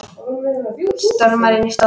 Stormar inn í stofu.